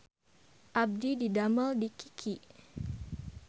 Abdi didamel di Kiky